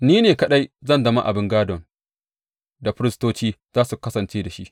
Ni ne kaɗai zan zama abin gādon da firistoci za su kasance da shi.